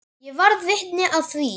Ég varð vitni að því.